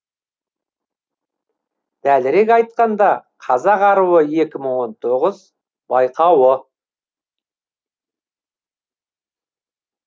дәлірек айтқанда қазақ аруы екі мың он тоғыз байқауы